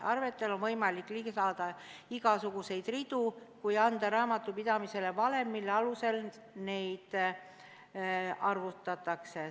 Arvetele on võimalik lisada igasuguseid ridu, kui anda raamatupidamisele valem, mille alusel neid arvutatakse.